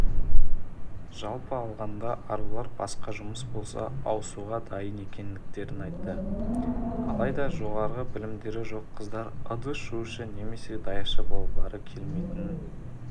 жалпы алғанда арулар басқа жұмыс болса ауысуға дайын екендерін айтты алайда жоғары білімдері жоқ қыздар ыдыс жуушы немесе даяшы болғылары келмейтінін